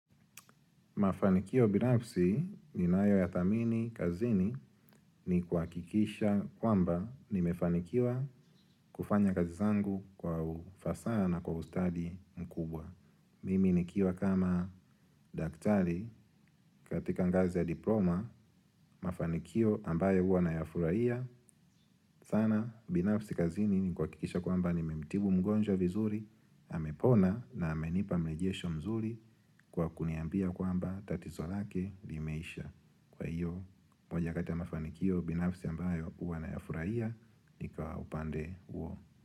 Mafanikio binafsi ninayoyathamini kazini ni kuhakikisha kwamba nimefanikiwa kufanya kazi zangu kwa ufasaha na kwa ustadi mkubwa. Mimi nikiwa kama daktari katika ngazi ya diploma, mafanikio ambayo huwa nayafurahia. Sana binafsi kazini ni kuhakikisha kwamba nimemtibu mgonjwa vizuri, amepona na amenipa mrejesho mzuri kwa kuniambia kwamba tatizo lake limeisha. Kwa hiyo, moja kati ya mafanikio binafsi ambayo huwa nayafurahia ni kwa upande huo.